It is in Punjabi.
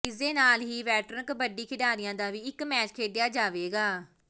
ਇਸਦੇ ਨਾਲ ਹੀ ਵੈਟਰਨ ਕਬੱਡੀ ਖਿਡਾਰੀਆਂ ਦਾ ਵੀ ਇੱਕ ਮੈਚ ਖੇਡਿਆ ਜਾਵੇਗਾ